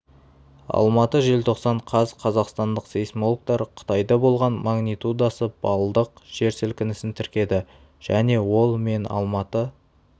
алматы желтоқсан қаз қазақстандық сейсмологтар қытайда болған магнитудасы баллдық жер сілкінісін тіркеді және ол мен алматы